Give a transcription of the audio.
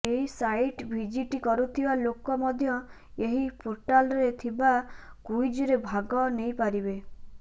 ଏହି site visit କରୁଥିବା ଲୋକ ମଧ୍ୟ ଏହି ପୋର୍ଟାଲରେ ଥିବା କୁଇଜରେ ଭାଗ ନେଇପାରିବେ